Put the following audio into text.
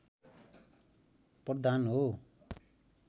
प्रधान हो